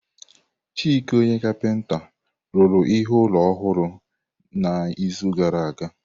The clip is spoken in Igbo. Chike ọnye kapinta rụrụ ihe ụlọ ọhụrụ n'izu gara aga.